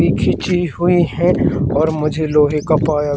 ये खीची हुई हैं और मुझे लोहे का पाया--